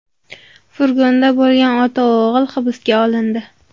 Furgonda bo‘lgan ota-o‘g‘il hibsga olindi.